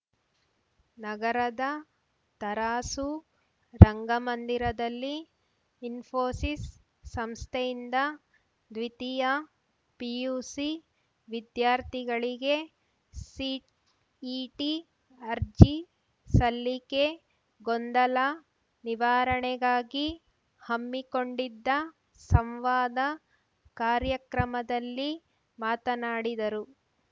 ನಗರದ ತರಾಸು ರಂಗಮಂದಿರದಲ್ಲಿ ಇನ್ಪೋಸಿಸ್ ಸಂಸ್ಥೆಯಿಂದ ದ್ವೀತಿಯ ಪಿಯುಸಿ ವಿದ್ಯಾರ್ಥಿಗಳಿಗೆ ಸಿಇಟಿ ಅರ್ಜಿಸಲ್ಲಿಕೆ ಗೊಂದಲ ನಿವಾರಣೆಗಾಗಿ ಹಮ್ಮಿಕೊಂಡಿದ್ದ ಸಂವಾದ ಕಾರ್ಯಕ್ರಮದಲ್ಲಿ ಮಾತನಾಡಿದರು